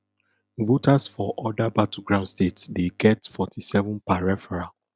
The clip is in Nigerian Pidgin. voters for oda battleground states dey get forty-seven per referral